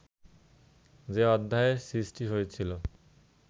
যে অধ্যায়ের সৃষ্টি হয়েছিল